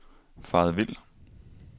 faret vild